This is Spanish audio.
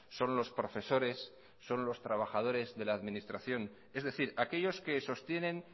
son los profesores son los trabajadores de la administración es decir aquellos que sostienen